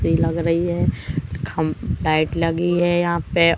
तेल लग रही है खम्भ लाइट लगी है यहां पे--